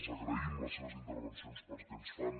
els agraïm les seves intervencions perquè ens fan